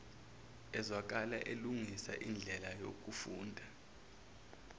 ezwakale elungisa indlelayokufunda